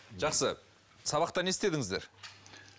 жақсы сабақта не істедіңіздер